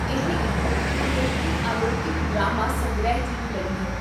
ਇਹ ਇੱਕ ਅਮਰੀਕੀ ਅਲੌਕੀਕ ਡਰਾਮਾ ਸੰਗ੍ਰਹਿ ਟੀਵੀ ਲੜੀ ਹੈ